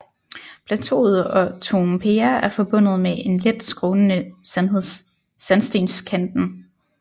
Plateauet og Toompea er forbundet med en let skrånende sandstenskanten